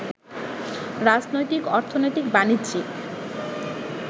রাজনৈতিক, অর্থনৈতিক, বাণিজ্যিক